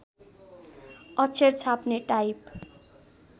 अक्षर छाप्ने टाइप